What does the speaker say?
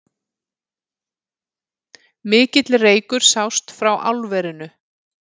Mikill reykur sást frá álverinu